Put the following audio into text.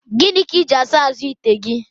Gịnị ka iji asa azụ ite gị?